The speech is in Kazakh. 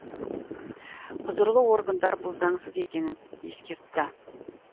құзырлы органдар бұл заңсыз екенін ескертті